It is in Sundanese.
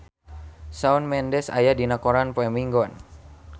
Shawn Mendes aya dina koran poe Minggon